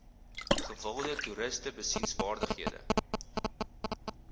gewilde toeriste besienswaardighede